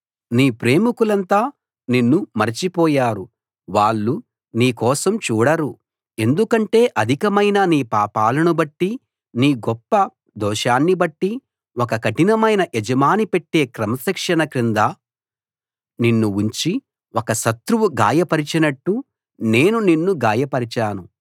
నీ ప్రేమికులంతా నిన్ను మరిచిపోయారు వాళ్ళు నీ కోసం చూడరు ఎందుకంటే అధికమైన నీ పాపాలనుబట్టి నీ గొప్ప దోషాన్నిబట్టి ఒక కఠినమైన యజమాని పెట్టే క్రమశిక్షణ కింద నిన్ను ఉంచి ఒక శత్రువు గాయపరిచినట్టు నేను నిన్ను గాయపరిచాను